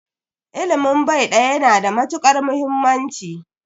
Ilimin bai daya yana da matukar muhimmanci.